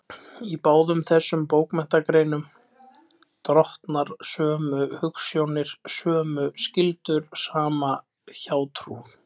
Í báðum þessum bókmenntagreinum drottna sömu hugsjónir, sömu skyldur, sama hjátrú.